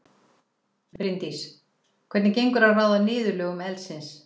Bryndís: Hvernig gengur að ráða niðurlögum eldsins?